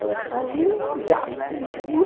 Elas faziam um diabo comigo, viu?